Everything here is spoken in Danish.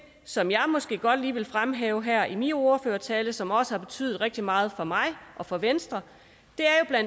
som jeg måske godt lige vil fremhæve her i min ordførertale som også har betydet rigtig meget for mig og for venstre